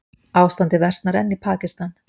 Ástandið versnar enn í Pakistan